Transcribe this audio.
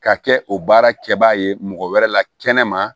Ka kɛ o baara kɛbaga ye mɔgɔ wɛrɛ la kɛnɛ ma